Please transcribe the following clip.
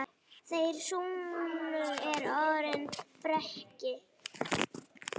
Þeirra sonur er Aron Breki.